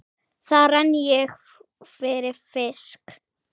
Þar renni ég fyrir fisk.